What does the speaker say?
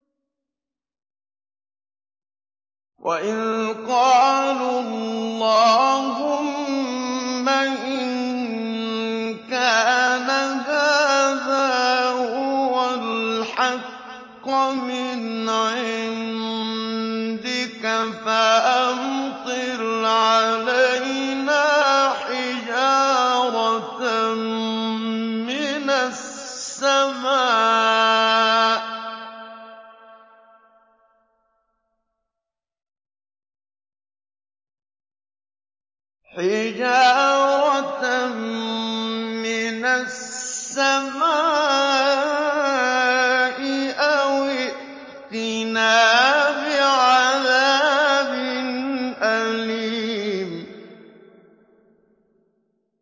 وَإِذْ قَالُوا اللَّهُمَّ إِن كَانَ هَٰذَا هُوَ الْحَقَّ مِنْ عِندِكَ فَأَمْطِرْ عَلَيْنَا حِجَارَةً مِّنَ السَّمَاءِ أَوِ ائْتِنَا بِعَذَابٍ أَلِيمٍ